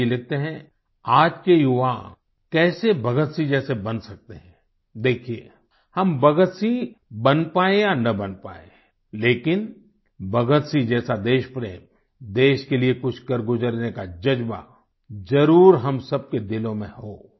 अजय जी लिखते हैं आज के युवा कैसे भगत सिंह जैसे बन सकते हैं देखिये हम भगत सिंह बन पायें या ना बन पायें लेकिन भगत सिंह जैसा देश प्रेम देश के लिये कुछ करगुजरने का ज़ज्बा जरुर हम सबके दिलों में हो